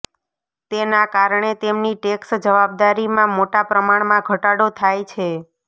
તેના કારણે તેમની ટેક્સ જવાબદારીમાં મોટા પ્રમાણમાં ઘટાડો થાય છે